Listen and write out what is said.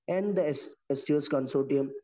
and the സ്‌ സ്‌2സ്‌ consortium